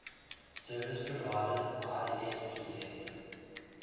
service providers isps